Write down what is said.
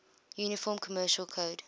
uniform commercial code